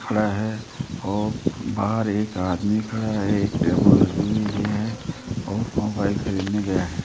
खड़ा है और बाहर एक आदमी खड़ा है एक टेबुल लगी हुई है और मोबाइल खरीदने गया है।